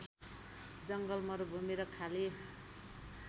जङ्गल मरुभूमि र खाली